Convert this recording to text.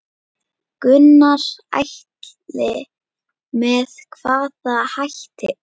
Gunnar Atli: Með hvaða hætti?